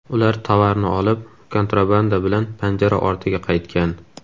Ular tovarni olib, kontrabanda bilan panjara ortiga qaytgan.